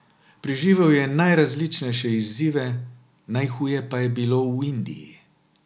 Preživel je najrazličnejše izzive, najhuje pa je bilo v Indiji.